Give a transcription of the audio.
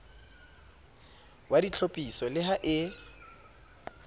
wa ditlhophiso le ha e